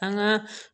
An ka